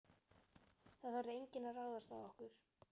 Það þorði enginn að ráðast á okkur.